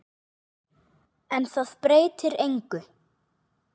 En það breytir engu.